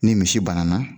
Ni misi banana